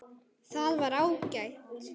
Það var ágætt.